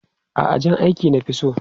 A'a, jan aiki na fi so.